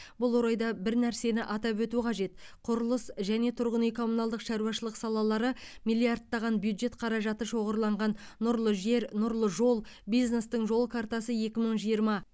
бұл орайда бір нәрсені атап өту қажет құрылыс және тұрғын үй коммуналдық шаруашылық салалары миллиардтаған бюджет қаражаты шоғырланған нұрлы жер нұрлы жол бизнестің жол картасы екі мың жиырма